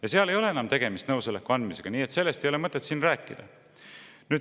Ja seal ei ole enam tegemist nõusoleku andmisega, nii et sellest ei ole mõtet siin rääkida.